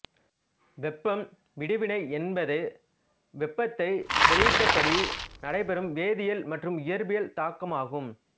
வெப்பம் விடுவினை என்பது வெப்பத்தை வெளியிட்டபடி நடைபெறும் வேதியியல் மற்றும் இயற்பியல் தாக்கமாகும்